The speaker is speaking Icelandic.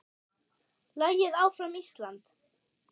Lagið Áfram Ísland!